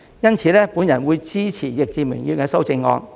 因此，我會支持易志明議員的修正案。